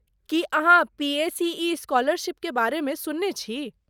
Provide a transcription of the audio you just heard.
की अहाँ पीएसीई स्कॉलरशीपकेँ बारेमे सुनने छी?